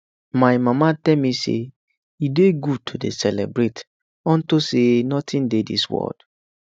my mama tell me say e dey good to dey celebrate unto say nothing dey dis world